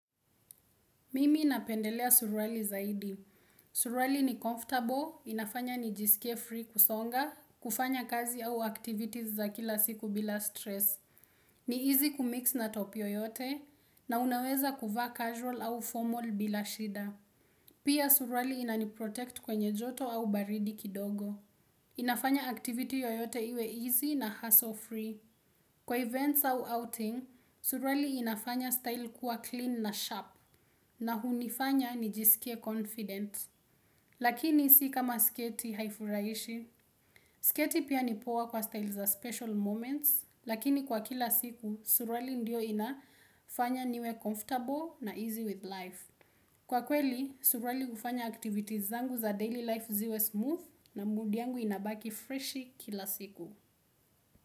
Mimi napendelea suruali zaidi. Suruali ni comfortable, inafanya nijisikie free kusonga, kufanya kazi au activities za kila siku bila stress. Ni easy kumix na top yoyote na unaweza kuvaa casual au formal bila shida. Pia suruali inani protect kwenye joto au baridi kidogo. Inafanya activity yoyote iwe easy na hustle free. Kwa events au outing, suruali inafanya style kuwa clean na sharp na hunifanya nijisikie confident. Lakini si kama sketi haifuraishi. Sketi pia nipoa kwa style za special moments, lakini kwa kila siku, suruali ndio inafanya niwe comfortable na easy with life. Kwa kweli, suruali ufanya activities zangu za daily life ziwe smooth na mood yangu inabaki freshi kila siku.